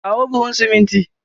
Kawo buhu siminti.